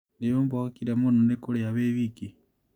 Nĩũmboekire mũno nĩkũrĩa wĩ wiki?